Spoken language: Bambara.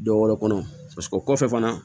Dɔ wɛrɛ kɔnɔ paseke o kɔfɛ fana